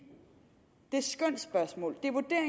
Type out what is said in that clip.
det skønsspørgsmål